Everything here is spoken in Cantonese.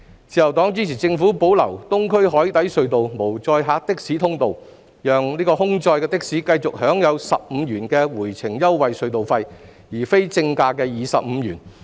自由黨支持政府保留東隧無載客的士通道，讓空載的士繼續享有15元的回程優惠隧道費，而非正價25元。